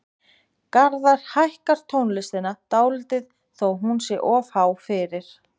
Garðar hækkar tónlistina dálítið þó að hún sé of há fyrir.